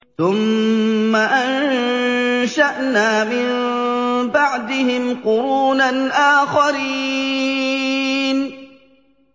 ثُمَّ أَنشَأْنَا مِن بَعْدِهِمْ قُرُونًا آخَرِينَ